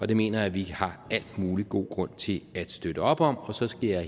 det mener jeg at vi har al mulig god grund til at støtte op om og så skal jeg